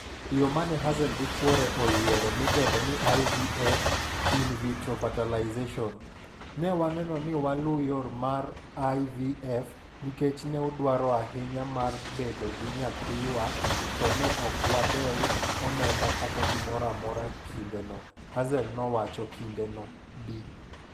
Yo mane Hazel gi chuore oyiero midendo ni (IVF)In-Vitro-fertilization "newa neno ni waluu yor no mar IVF nikech new dwaro ahinya mar bedo gi nyathiwa to ne ok wadeo omenda kata gimoro amora kinde no." Hazel nowacho kinde no. Bi.